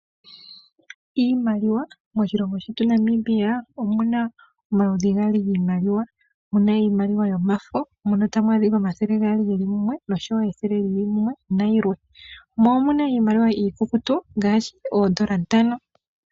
Iimaliwa, moshilongo shetu Namibia omu na omaludhi gaali giimaliwa mu na iimaliwa yomafo mono tamu adhika omathele gaali geli mumwe nosho wo ethele lyili mumwe nayi lwe, mo omu na iimaliwa iikukutu ngaashi, oodola ntano.